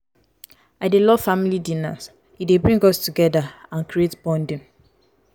i dey love family dinners; e dey bring us together and create bonding.